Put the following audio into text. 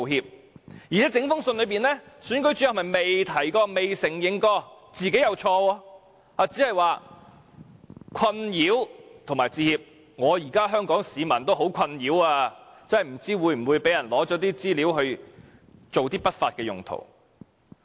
況且，在整封信中，總選舉事務主任不曾提及也未有承認自己有錯，只表示為困擾致歉——現在香港市民也很困擾，不知道個人資料會否被人用作不法用途。